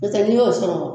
N'o tɛ n'i y'o sɔrɔ